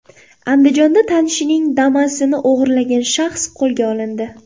Andijonda tanishining Damas’ini o‘g‘irlagan shaxs qo‘lga olindi.